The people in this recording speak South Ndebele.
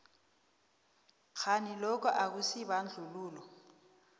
kghani lokhu akusibandlululo